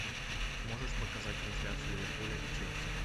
можешь показать трансляцию ливерпуля и челси